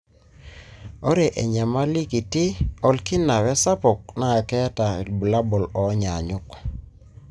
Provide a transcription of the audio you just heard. ore enyamali kiti olkina wesapuk na keeta ilbulabul onyanyuk.